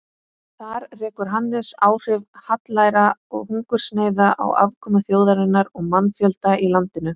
Þar rekur Hannes áhrif hallæra og hungursneyða á afkomu þjóðarinnar og mannfjölda í landinu.